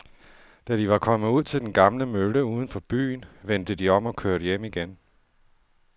Da de var kommet ud til den gamle mølle uden for byen, vendte de om og kørte hjem igen.